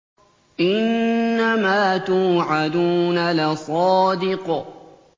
إِنَّمَا تُوعَدُونَ لَصَادِقٌ